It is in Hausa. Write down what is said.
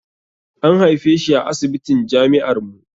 An haife shi a asibitin jami'ar mu